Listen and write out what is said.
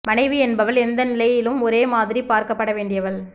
மனைவி என்பவள் எந்த நிலையிலும் ஒரே மாதிரிப் பார்க்கப்பட வேண்டியவள்